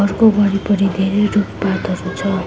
डोम वरिपरि धेरै रुखपातहरू छ।